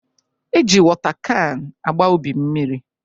E ji wota kan agba ubi mmiri